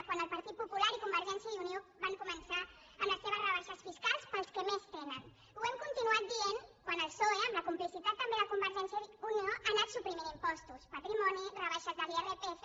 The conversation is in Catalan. quan el partit popular i convergència i unió van començar amb les seves rebaixes fiscals per als que més tenen ho hem continuat dient quan el psoe amb la complicitat també de convergència i unió ha anat suprimint impostos patrimoni rebaixes de l’irpf